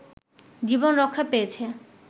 জীবন রক্ষা পেয়েছে